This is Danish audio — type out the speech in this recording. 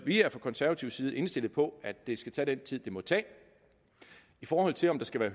vi er fra konservativ side indstillet på at det skal tage den tid det må tage i forhold til om der skal være